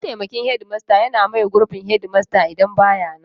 Mataimakin shedimasta yana maye gurbin shedimasta idan ba ya nan.